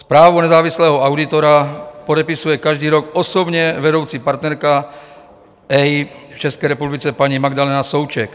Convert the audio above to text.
Zprávu nezávislého auditora podepisuje každý rok osobně vedoucí partnerka EY v České republice, paní Magdaléna Souček.